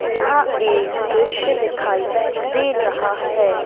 यहां एक दृश्य दिखाई दे रहा है।